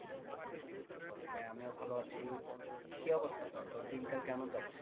হ্যাঁ আমিও ভালো আছি কি অবস্থাটা তোর? তোর দিনকাল কেমন যাচ্ছে?